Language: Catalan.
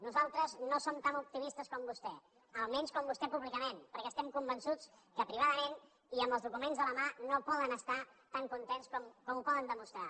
nosaltres no som tan optimistes com vostè almenys com vostè públicament perquè estem convençuts que privadament i amb els documents a la mà no poden estar tan contents com ho poden demostrar